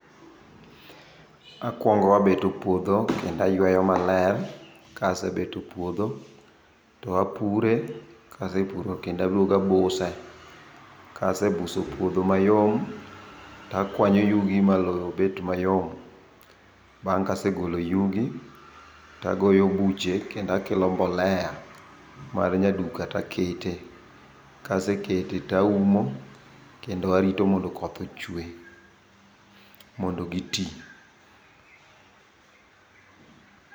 Akwongo abeto puodho, kendo ayweyo maler. Ka asebeto puodho, to apure, kasepuro kendo aduogo abuse. Kasebuso puodho mayom, takwanyo yugi ma lowo bet mayom. Bang' ka asegolo yugi, tagoyo buche, kendo akelo mbolea mar nya duka taketee. Kasekete taumo, kendo arito mondo koth ochwe, mondo gitii.